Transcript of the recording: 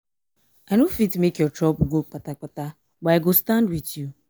abeg show am empathy make e see am sey e no dey alone.